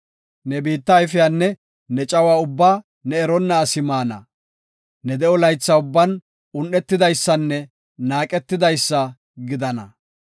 Ne biitta ayfiyanne ne cawa ubbaa ne eronna asi maana; ne de7o laytha ubban un7etidaysanne naaqetidaysa gidana.